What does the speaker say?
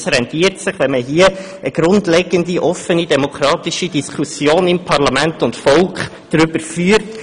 Es lohnt sich daher, wenn man darüber eine grundlegende, offene und demokratische Diskussion in Parlament und Volk führt.